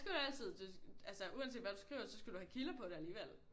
Så skal du altid altså uanset hvad du skriver så skal du have kilder på det alligevel